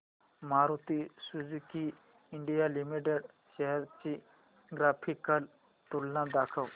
Maruti Suzuki India limited shares ची graphical तुलना दाखव